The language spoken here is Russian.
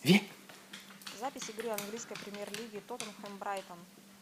запись игры английской премьер лиги тоттенхэм брайтон